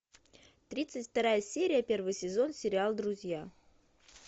тридцать вторая серия первый сезон сериал друзья